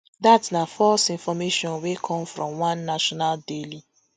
dat na false information wey come from one national daily